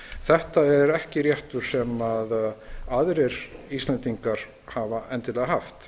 þetta er ekki réttur sem aðrir íslendingar hafa endilega haft